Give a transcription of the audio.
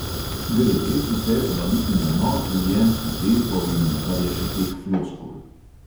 Gre res vse zvaliti na nor življenjski tempo in kar je še teh floskul?